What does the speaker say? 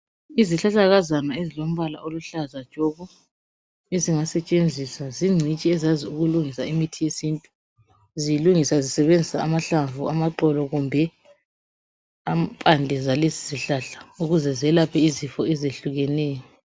Izihlahlakazana ezilombala oluhlaza tshoko ezingasetshenziswa zingcitshi ezazi ukulungisa imithi yesintu zilungisa zisebenzisa amahlamvu, amaxolo kumbe impande zalesi sihlahla ukuze zelaphe izifo ezehlukeneyo.